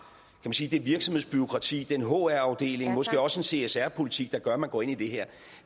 man sige det virksomhedsbureaukrati den hr afdeling måske også en csr politik der gør at man går ind i det her